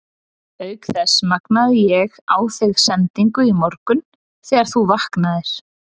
Auk þess magnaði ég á þig sendingu í morgun þegar þú vaknaðir.